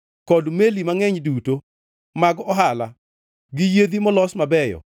kod meli mangʼeny duto mag ohala gi yiedhi molos mabeyo.